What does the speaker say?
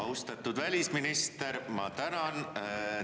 Austatud välisminister, ma tänan!